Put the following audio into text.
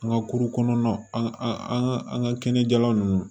An ka kuru kɔnɔnaw an an ka kɛnɛjɛlan nunnu